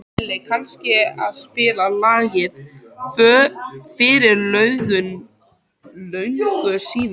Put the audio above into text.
Elli, kanntu að spila lagið „Fyrir löngu síðan“?